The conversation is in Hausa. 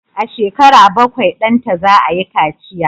A shekara bakwai, danta za a yi kaciya